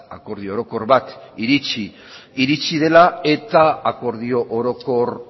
akordio orokor batera iritzi dela eta akordio orokor